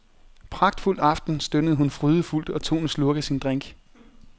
Pragtfuld aften, stønnede hun frydefuldt og tog en slurk af sin drink.